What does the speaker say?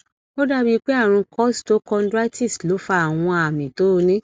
ó dàbí pé àrùn costochondritis ló fa àwọn àmì tó o ní